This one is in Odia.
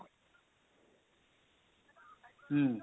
ହୁଁ,